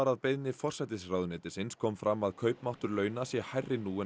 að beiðni forsætisráðuneytisins kom fram að kaupmáttur launa sé hærri nú en